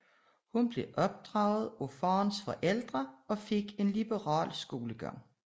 Hun blev opdraget af faderens forældre og fik en liberal skolegang